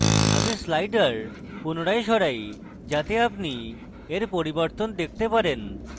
আমি sliders পুনরায় সরাই যাতে আপনি এর পরিবর্তন দেখতে পারেন